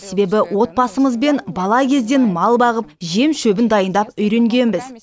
себебі отбасымызбен бала кезден мал бағып жем шөбін дайындап үйренгенбіз